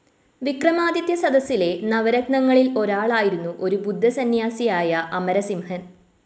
വിക്രമാദിത്യ സദസ്സിലെ നവരത്നങ്ങളിൽ ഒരാളായിരുന്നു ഒരു ബുദ്ധസന്യാസിയായ അമരസിംഹൻ